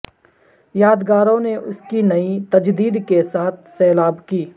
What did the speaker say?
یادگاروں نے اس کی نئی تجدید کے ساتھ سیلاب کی